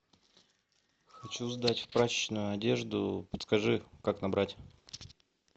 хочу сдать в прачечную одежду подскажи как набрать